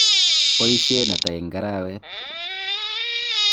nboisien ata eng' arawet?